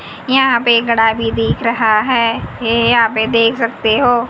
यहां पे ये घड़ा भी देख रहा है ये यहां पे देख सकते हो --